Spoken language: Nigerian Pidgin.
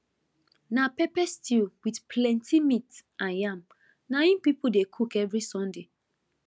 na pepper stew with plenty meat and yam na im people dey cook every sunday